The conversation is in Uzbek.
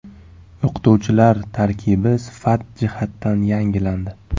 O‘qituvchilar tarkibi sifat jihatidan yangilandi.